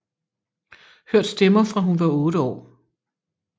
Hørt stemmer fra hun var otte år